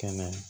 Kɛnɛ